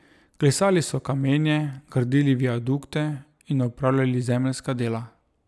Klesali so kamenje, gradili viadukte in opravljali zemeljska dela.